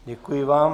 Děkuji vám.